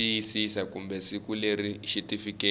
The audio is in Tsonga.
xiyisisa kumbe siku leri xitifiketi